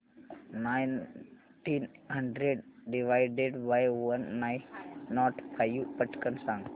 nineteen hundred divided by one nought five पटकन सांग